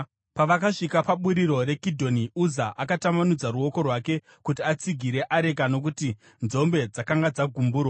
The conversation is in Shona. Pavakasvika paburiro raKidhoni, Uza akatambanudza ruoko rwake kuti atsigire areka nokuti nzombe dzakanga dzagumburwa.